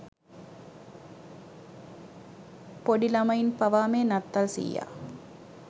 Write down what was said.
පොඩි ලමයින් පවා මේ නත්තල් සීයා